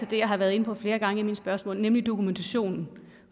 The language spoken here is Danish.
jeg har været inde på flere gange i mine spørgsmål nemlig dokumentationen